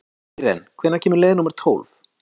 Íren, hvenær kemur leið númer tólf?